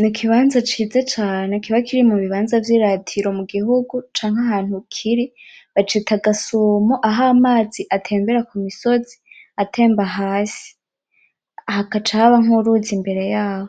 N'ikibanza ciza cane kiba kiri mubibanza vy'iratiro mu gihugu canke ahantu kiri, bacita gasumo aho amazi atemera kumusozi atemba hasi, hakaca haba nk'uruzi imbere yaho.